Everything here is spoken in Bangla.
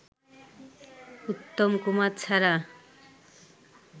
উত্তম কুমার ছাড়া